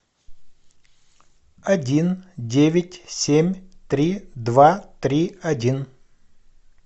один девять семь три два три один